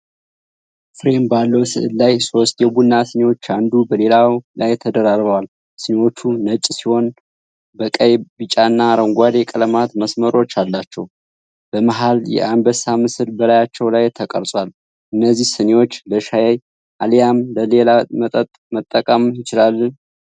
ፍሬም ባለው ስዕል ላይ ሦስት የቡና ስኒዎች አንዱ በሌላው ላይ ተደራርበዋል። ስኒዎቹ ነጭ ሲሆኑ በቀይ፣ ቢጫና አረንጓዴ ቀለማት መስመሮች አላቸው። በመሃል የአንበሳ ምስል በላያቸው ላይ ተቀርጿል። እነዚህ ስኒዎች ለሻይ አሊያም ለሌላ መጠጥ መጠቀም ይቻላል?